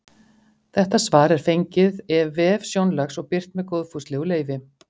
Þetta svar er fengið ef vef Sjónlags og birt með góðfúslegu leyfi.